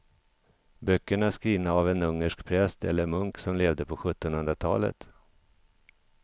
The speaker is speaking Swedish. Böckerna är skrivna av en ungersk präst eller munk som levde på sjuttonhundratalet.